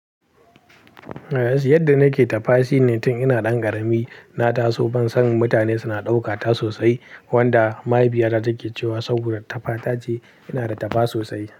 Yadda nake ta fa shi ne tun ina ɗan ƙarami. Na taso ban san mutane suna ɗauka ta sosai wanda mahaifiyata take cewa saboda ta fa ta ce ina da ta fa sosai.